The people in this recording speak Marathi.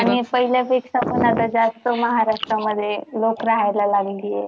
आणि पहिल्यापेक्षा पण जास्त महाराष्ट्रामध्ये लोक रहायला लागली आहे.